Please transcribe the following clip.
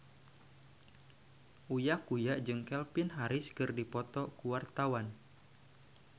Uya Kuya jeung Calvin Harris keur dipoto ku wartawan